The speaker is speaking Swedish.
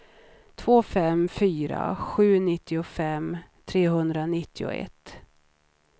två fem fyra sju nittiofem trehundranittioett